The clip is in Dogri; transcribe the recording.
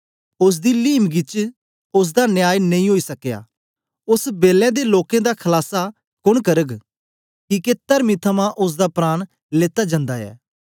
ओसदी लीमंगी च ओसदा न्याय नेई ओई सकया ओदे बेलै दे लोकें दा खलास कोन करग किके तरती थमां ओसदा प्राण लेत्ता जंदा ऐ